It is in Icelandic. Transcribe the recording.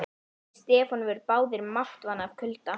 Þeir Stefán voru báðir máttvana af kulda.